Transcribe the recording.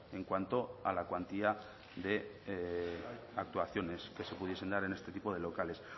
en cuanto a la cuantía de actuaciones que se pudiesen dar en este tipo de locales